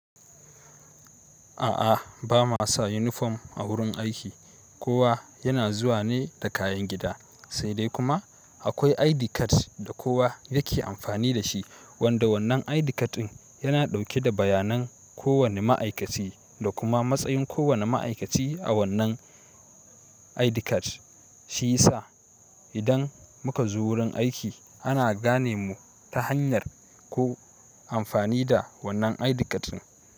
A'a, ba ma sa uniform a wurin aiki. Kowa yana zuwa ne da kayan gida, sai dai kuma akwai ID card da kowa yake amfani da shi, wanda wannan ID card ɗin yana ɗauke da bayanan kowane ma'aikaci da kuma matsayin kowane ma'aikaci a wannan ID card. Shiya sa idan muka zo wurin aiki ana gane mu ta hanyar ko amfani da wannan ID card ɗin.